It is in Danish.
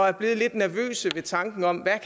er blevet lidt nervøse ved tanken om